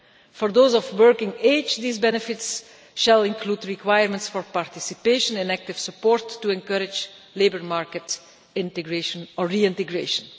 For those of working age, these benefits shall include requirements for participation and active support to encourage labour market reintegration.